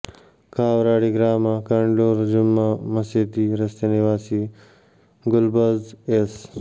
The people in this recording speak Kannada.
ಕಾವ್ರಾಡಿ ಗ್ರಾಮ ಕಂಡ್ಲೂರು ಜುಮ್ಮಾ ಮಸೀದಿ ರಸ್ತೆ ನಿವಾಸಿ ಗುಲ್ಬಾಝ್ ಎಸ್